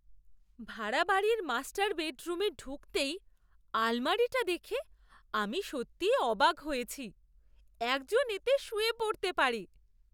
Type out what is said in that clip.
ভাড়া বাড়ির মাস্টার বেডরুমে ঢুকতেই আলমারিটা দেখে আমি সত্যিই অবাক হয়েছি, একজন এতে শুয়ে পড়তে পারে!